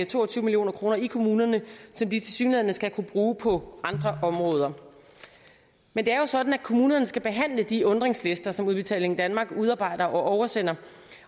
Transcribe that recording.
to og tyve million kroner i kommunerne som de tilsyneladende skal kunne bruge på andre områder men det er jo sådan at kommunerne skal behandle de undringslister som udbetaling danmark udarbejder og oversender